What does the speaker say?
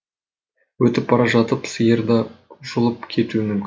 өтіп бара жатып сиыр да жұлып кетуі мүмкін